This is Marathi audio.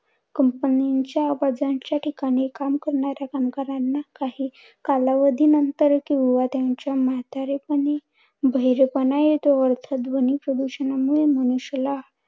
Company च्या आवाजांच्या ठिकाणी काम करणाऱ्या कामगारांना काही कालावधी नंतर किंवा त्यांच्या म्हातारेपणी बहिरेपणा येतो व ध्वनी प्रदुषणामुळे मनुष्याला